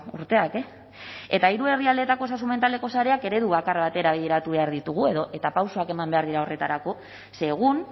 urteak e eta hiru herrialdeetako osasun mentaleko sareak eredu bakar batera bideratu behar ditugu edo eta pausoak eman behar dira horretarako ze egun